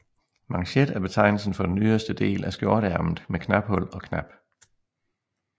Manchet er betegnelsen for den yderste del af skjorteærmet med knaphul og knap